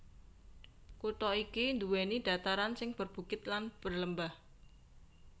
Kutha iki nduwèni dhataran sing berbukit lan berlembah